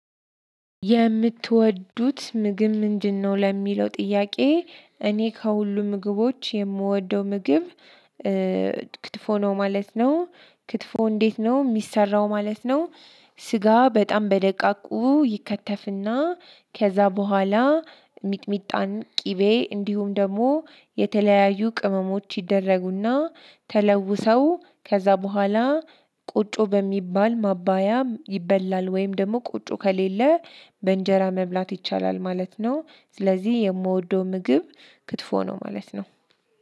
የምትወዱት ምግብ ምንድነው? ለሚለው ጥያቄ እኔ ከሁሉ ምግቦች የምወደው ምግብ እ ክትፎ ነው ማለት ነው። ክትፎ እንዴት ነው የሚሰራው ማለት ነው? ስጋ በጣም በደቃቁ ይከተፍና ከዛ በኋላ ሚጥሚጣን ቅቤ እንዲሁም ደግሞ የተለያዩ ቅመሞች ይደረጉና ተለውሰው ከዛ በኋላ ቁጩ በሚባል ማባያም ይበላል። ወይም ደግሞ ቁጩ ከሌለ በእንጀራ መብላት ይቻላል ማለት ነው። ስለዚህ የምወደው ምግብ ክትፎ ነው ማለት ነው።